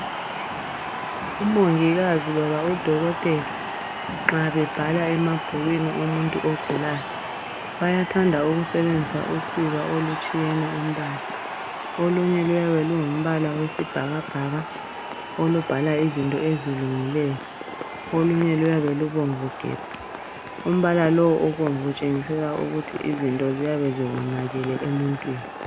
Umongikazi loba udokotela nxa bebhala emabhukwini omuntu ogulayo bayathanda ukusebebenzisa usiba olutshiyene umbala, olunye luyabe lungumbala wesibhakabhaka olubhala izinto ezilungileyo ,olunye luyabe lubomvu gebhu umbala lowu obomvu utshengisela ukuthi izinto ziyabe ziwonakele emuntwini.